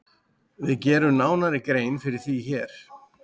Við gerum nánari grein fyrir því hér.